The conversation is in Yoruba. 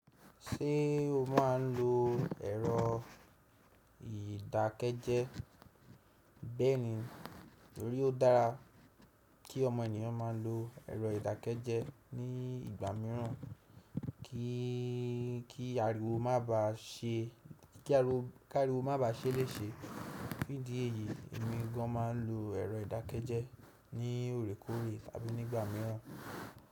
Ṣé o máa n lo ẹ̀rọ ìdákẹ́jẹ́? Bẹ́ẹ̀ni torí ó dára kí ọmọ ènìyàn máa lo ẹ̀rọ ìdákẹ́jẹ́ ní ìgbà mìíràn kí ariwo má ba à ṣẹ́ léṣe. Ní idí ẹ̀yìí, èmi gan máa n lo ẹ̀rọ ìdákẹ́jẹ́ ní òrékòre àbí nígbà mìíràn.